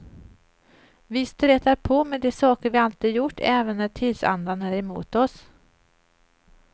Vi stretar på med de saker vi alltid gjort även när tidsandan är emot oss.